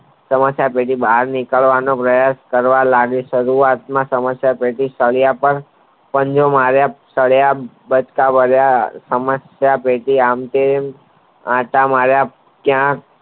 સમસ્યા ટેટી બહાર નીકરવાનો પ્રયાસ કરવા ગઈ શરૂવાત માં સમસ્યા ટેટી સળિયા તન બટકા ભરવા સમસ્યા ટેટી આમ તો આતા માર્યા ત્યા